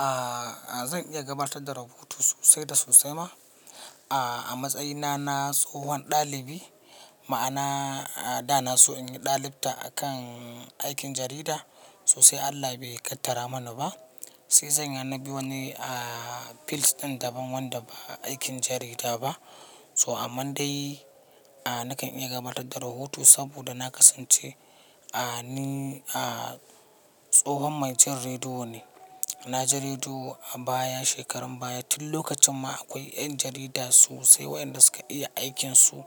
Aaa, zan iya gabatar da rahoto sosai da sosai ma. Aaa, a matsayina na tsohon ɗalibi, ma'ana da na so in yi ɗalibta a kan aikin jarida sosai Allah bai ƙaddara mana ba. Sai zan yana bi wani aa fields ɗin daban wanda ba aikin jarida ba. So amman dai, aaa nakan iya gabatar da rahoto saboda na kasance, aaa ni aaa tsohon mai jin rediyo ne. Na ji rediyo a baya shekarun baya. Tin lokacin ma akwai ƴan jarida sosai waɗanda suka iya aikinsu.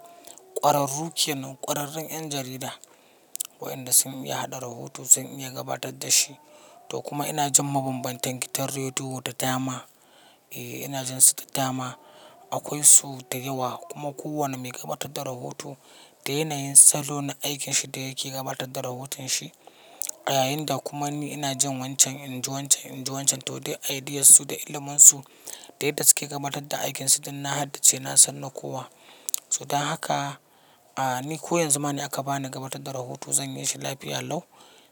Ƙwararruke nan, ƙwararrun ƴan jarida waɗanda sun iya haɗa rahoto sun iya gabatar da shi. To kuma ina jin mabamban gidan rediyo da dama. Eeee ina jin su da dama. Akwai su da yawa kuma kowane mai gabatar da rahoto da yanayin salo na aikinsa da yake gabatar da rahoton shi. Yayin da kuma ni ina jin wancan, in ji wancan, in ji wancan to dai ideas su da ilimin su da yadda suke gabatar da aikinsu tin na haddace na sanna kowa. So dan haka, aaa ni ko yanzu ma in aka bani gabatar da rahoto zan yi shi lafiya lau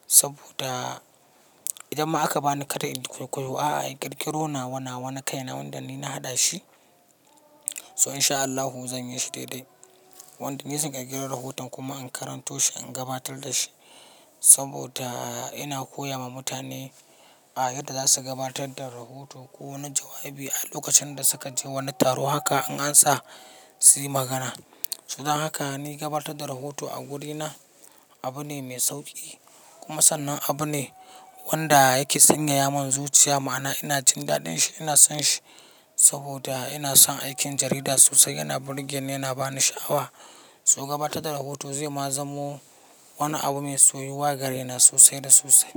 saboda idan ma aka bani karar in koyaushe a'a yi ƙirƙiro na wana wana kaina wanda ni na haɗa shi. So in sha Allahu zan yi shi daidai. Wanda ni zan ƙirkiro rahoton kuma in karanto shi, in gabatar da shi. Saboda ina koya ma mutane a yadda za su gabatar da rahoto ko wani jawabi a lokacin da suka je wani taro haka in ansa si magana. To dan haka ni gabatar da rahoto a wurina abu ne mai sauƙi kuma sannan abu ne wanda yake sanya ya mun zuciya ma'ana ina jin daɗin shi ina son shi. Saboda ina son aikin jarida sosai yana burge ni yana bani sha'awa. So gabatar da rahoto zai ma zamo wani abu mai soyuwa ga raina sosai da sosai.